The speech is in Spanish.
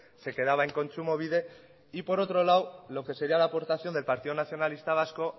se quedaba en kontsumobide y por otro lado lo que seria la aportación del partido nacionalista vasco